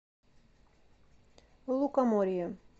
лукоморье